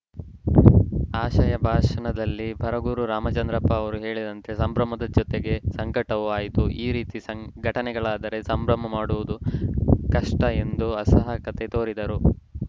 ಆಶಯ ಭಾಷಣದಲ್ಲಿ ಬರಗೂರು ರಾಮಚಂದ್ರಪ್ಪ ಅವರು ಹೇಳಿದಂತೆ ಸಂಭ್ರಮದ ಜತೆಗೆ ಸಂಕಟವೂ ಆಯಿತು ಈ ರೀತಿ ಘಟನೆ ಗಳಾದರೆ ಸಂಭ್ರಮ ಮಾಡುವುದು ಕಷ್ಟಎಂದು ಅಸಹಾಯಕತೆ ತೋರಿದರು